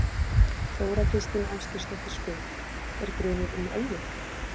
Þóra Kristín Ásgeirsdóttir: Er grunur um ölvun?